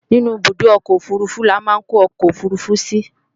Inú ibùdó ọkọ̀ òfurufú ni a máa ń kó ọkọ̀ òfurufú sí